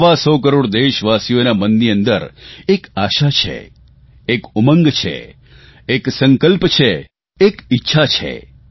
સવા સો કરોડ દેશવાસીઓના મનની અંદર એક આશા છે એક ઉમંગ છે એક સંકલ્પ છે એક ઇચ્છા છે